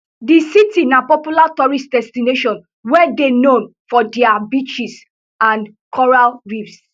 di city na popular tourist destination wey dey known for dia beaches and coral reefs